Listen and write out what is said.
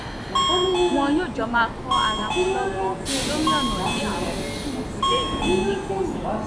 wọn yóò jọ máa kọ́ ara wọn lọ́gbọ́n lórí ọ̀nà tí ààbò tún léfì nípọn sí i